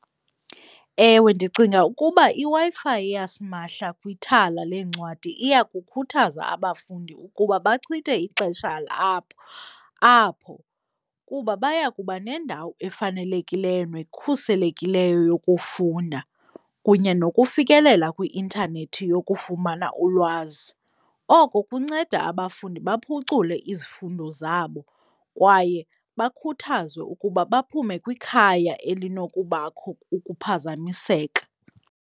Ewe, ndicinga ukuba iWi-Fi yasimahla kwithala leencwadi iyakukhuthaza abafundi ukuba bachithe ixesha labo apho kuba baya kuba nendawo efanelekileyo nekhuselekileyo yokufunda, kunye nokufikelela kwi-intanethi yokufumana ulwazi. Oko kunceda abafundi baphucule izifundo zabo kwaye bakhuthazwe ukuba baphume kwikhaya elinokubakho ukuphazamiseka.